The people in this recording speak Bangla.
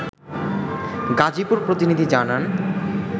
গাজীপুর প্রতিনিধি জানান